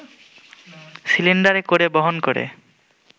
সিলিন্ডারে করে বহন করে